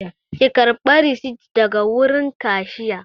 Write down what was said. Ki karɓa risit daga wurin kashiya!